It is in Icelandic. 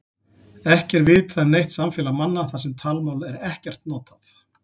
Ekki er vitað um neitt samfélag manna þar sem talmál er ekkert notað.